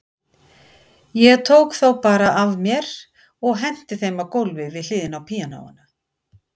Ég tók þá bara af mér og henti þeim á gólfið við hliðina á píanóinu.